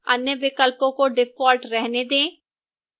अन्य विकल्पों को default होने दें